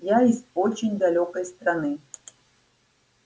я из очень далёкой страны